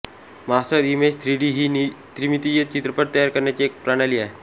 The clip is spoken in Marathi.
मास्टरइमेज थ्रीडी ही त्रिमितीय चित्रपट तयार करण्याची एक प्रणाली आहे